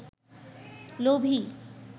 লোভী